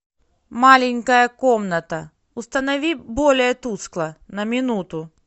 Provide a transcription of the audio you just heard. маленькая комната установи более тускло на минуту